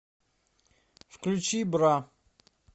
включи бра